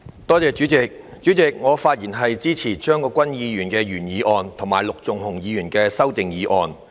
代理主席，我發言支持張國鈞議員的原議案和陸頌雄議員的修正案。